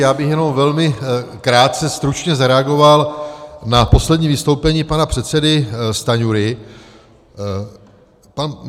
Já bych jenom velmi krátce stručně zareagoval na poslední vystoupení pana předsedy Stanjury.